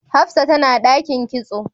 Hafsat tana dakin kitso